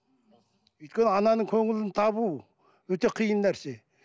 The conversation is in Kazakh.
өйткені ананың көңілін табу өте қиын нәрсе